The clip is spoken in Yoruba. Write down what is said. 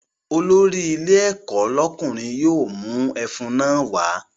Olórí ilé ẹ̀kọ́ lọ́kùnrin yóò mú ẹfun náà wá